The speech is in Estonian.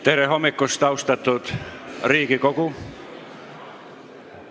Tere hommikust, austatud Riigikogu!